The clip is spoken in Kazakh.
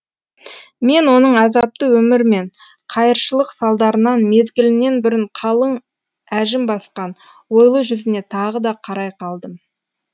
мен оның азапты өмір мен қайыршылық салдарынан мезгілінен бұрын қалың әжім басқан ойлы жүзіне тағы да қарай қалдым